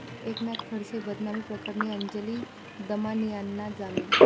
एकनाथ खडसे बदनामी प्रकरणी अंजली दमानियांना जामीन